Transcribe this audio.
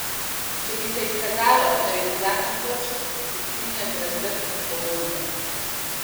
Če bi se izkazalo, da je bil zakon kršen, se strinja z razdrtjem pogodbe.